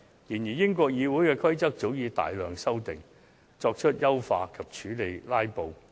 然而，英國國會的規則早已作出大量修訂，以優化議事程序及處理"拉布"。